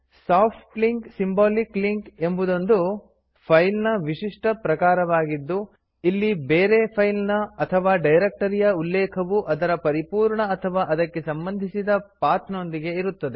soft link symbolic link ಎಂಬುದೊಂದು file ನ ವಿಶಿಷ್ಟ ಪ್ರಕಾರವಾಗಿದ್ದು ಇಲ್ಲಿ ಬೇರೆ ಫೈಲ್ ನ ಅಥವಾ ಡೈರಕ್ಟರಿಯ ಉಲ್ಲೇಖವು ಅದರ ಪರಿಪೂರ್ಣ ಅಥವಾ ಅದಕ್ಕೆ ಸಂಬಂಧಿಸಿದ ಪಾಥ್ ನೊಂದಿಗೆ ಇರುತ್ತದೆ